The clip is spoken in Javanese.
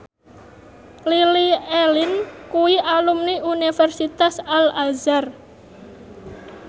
Lily Allen kuwi alumni Universitas Al Azhar